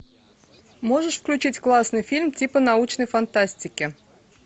можешь включить классный фильм типа научной фантастики